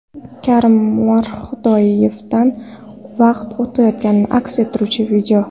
Karim Mirhodiyevdan vaqt o‘tayotganini aks ettiruvchi video.